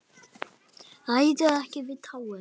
Ræður ekki við tárin.